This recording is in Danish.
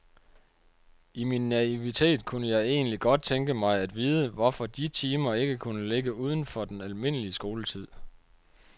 I min naivitet kunne jeg egentlig godt tænke mig at vide, hvorfor de timer ikke kunne ligge uden for den almindelige skoletid.